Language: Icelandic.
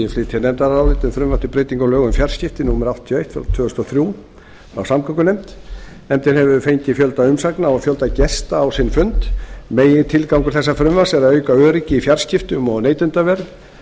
breytinga á lögum um fjarskipti númer áttatíu og eitt tvö þúsund og þrjú frá samgöngunefnd nefndin hefur fengið fjölda umsagna og fjölda gesta á sinn fund megintilgangur þessa frumvarps er að auka öryggi í fjarskiptum og neytendavernd og